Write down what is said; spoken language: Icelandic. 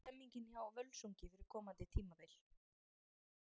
Hvernig er stemningin hjá Völsungi fyrir komandi tímabil?